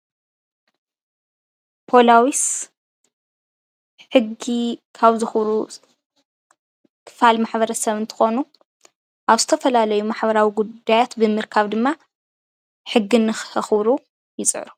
ፖላዊስ ሕጊ ካብ ዘክቡሩ ክፋል ማሕብረሰብ እንትኮኑ ኣብ ዝተፋላለዩ ማሕበራዊ ጉዳያት ብምርካብ ድማ ሕጊ ንከክቡሩ ይፅዕሩ፡፡